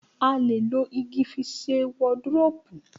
A lè lo igi fi sẹ wọdiróópù.